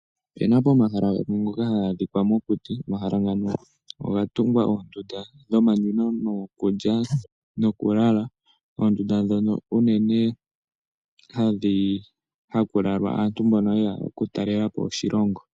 Opu na pomahala gamwe haga adhika mokuti, pomahala mpaka opwa tungwa oondunda dhomanwino, dhiikulya nokulala. Oondunda ndhino unene ohamu lala aantu mboka ye ya okutalela po oshilongo.